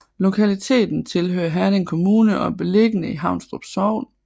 Lokaliteten tilhører Herning Kommune og er beliggende i Haunstrup Sogn